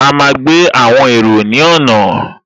A máa gbé àwọn èrò ní ọ̀nà